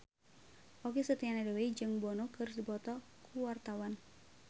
Okky Setiana Dewi jeung Bono keur dipoto ku wartawan